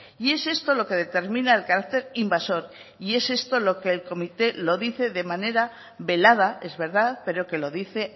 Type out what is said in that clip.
y es esto lo que determina el carácter invasor y es esto lo que el comité lo dice de manera velada es verdad pero que lo dice